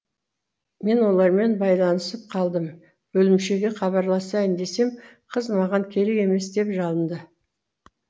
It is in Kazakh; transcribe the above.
мен олармен байланысып қалдым бөлімшеге хабарласайын десем қыз маған керек емес деп жалыңды